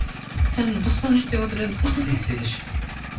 жаңа тоқсан үш деп отыр едіңіз ғой сексен үш